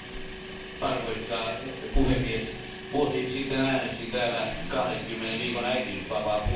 Arvoisa puhemies, vuosi sitten äänestin täällä 20 viikon äitiysvapaan puolesta.